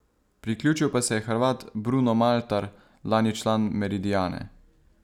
Priključil pa se je Hrvat Bruno Maltar, lani član Meridiane.